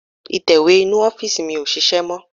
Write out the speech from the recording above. Ìtẹ̀wé inú ọ́fìsì mi ò ṣiṣẹ́ mọ́